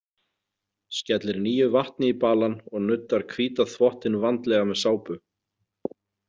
Skellir nýju vatni í balann og nuddar hvíta þvottinn vandlega með sápu.